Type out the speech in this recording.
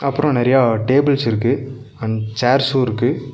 அப்றோ நெறைய டேபிள்ஸ் இருக்கு அண்ட் சேர்ஸ்சுருக்கு .